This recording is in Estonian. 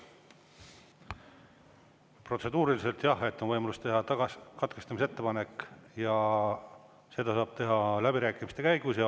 Protseduuriliselt jah, on võimalus teha katkestamisettepanek, seda saab teha läbirääkimiste käigus.